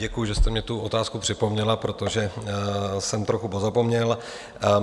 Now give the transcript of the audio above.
Děkuji, že jste mi tu otázku připomněla, protože jsem trochu pozapomněl.